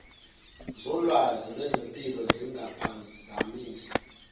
zolwazi lwezempilo zingaphazamisa